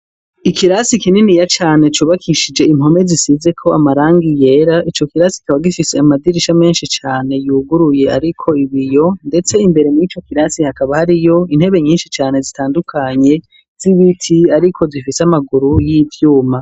Ikirasi kininiya cane cubakishije impome zisizeko amarangi yera ico kirasi kaba gifise amadirisha menshi cane yuguruye ariko ibiyo, ndetse imbere murico kirasi hakaba hariyo intebe nyinshi cane zitandukanye z'ibiti ariko zifise amaguru y'ivyuma.